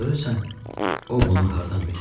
Görəsən, o bunu hardan bilir?